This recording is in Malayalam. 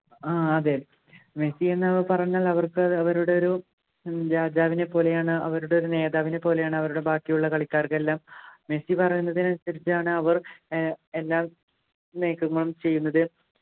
ആഹ് അതെ മെസ്സി എന്ന് പറഞ്ഞാൽ അവക്ക് അത് അവരുടെ ഒരു ഉം രാജാവിനെ പോലെയാണ് അവരുടെ ഒരു നേതാവിനെ പോലെയാണ് അവരുടെ ബാക്കിയുള്ള കളികാർക്കെല്ലാം മെസ്സി പറയുന്നതിനനുസരിച്ചാണ് അവ ഏർ എല്ലാ നീക്കങ്ങളും ചെയ്യുന്നത്